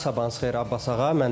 Aynu, sabahınız xeyir, Abbas ağa.